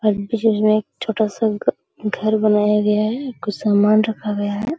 में छोटा-सा ग घर बनाया गया है कुछ समान रखा गया है।